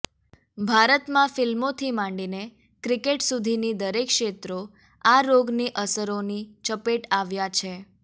ભારતમાં ફિલ્મોથી માંડીને ક્રિકેટ સુધીની દરેક ક્ષેત્રો આ રોગની અસરોની ચપેટ આવ્યા છે